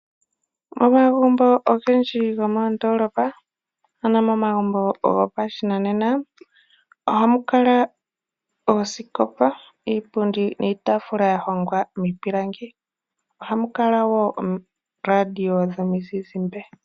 Momagumbo ogendji gomoondolopa ano omagumbo gopashinanena ohamu kala oosikopa, iipundi niitaafula yahongwa miipilangi. Ohamu kala wo ooradio dhomuzizimbe.